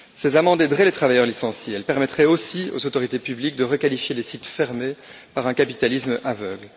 Ces amendes aideraient les travailleurs licenciés, elles permettraient aussi aux autorités publiques de requalifier les sites fermés par un capitalisme aveugle.